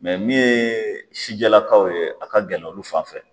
Mɛ min ye sijɛlakaw ye, a ka gɛlɛ olu fan fɛ